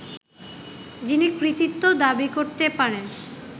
যিনি কৃতিত্ব দাবি করতে পারেন